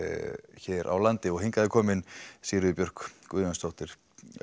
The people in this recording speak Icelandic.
hér á landi hingað er komin Sigríður Björk Guðjónsdóttir